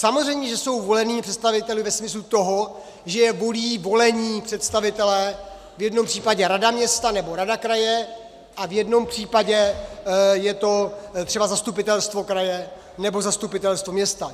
Samozřejmě že jsou volenými představiteli ve smyslu toho, že je volí volení představitelé, v jednom případě rada města nebo rada kraje a v jednom případě je to třeba zastupitelstvo kraje nebo zastupitelstvo města.